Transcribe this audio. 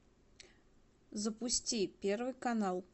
запусти первый канал